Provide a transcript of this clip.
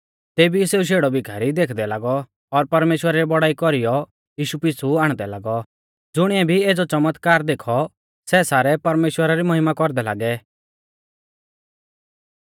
तेबी ई सेऊ शेड़ौ भीखारी देखदै लागौ और परमेश्‍वरा री बौड़ाई कौरीयौ यीशु पिछ़ु आण्डदै लागौ ज़ुणिऐ भी एज़ौ च़मतकार देखौ सै सारै परमेश्‍वरा री महिमा कौरदै लागै